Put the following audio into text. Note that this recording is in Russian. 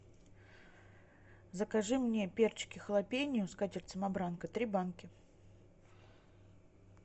закажи мне перчики халапеньо скатерть самобранка три банки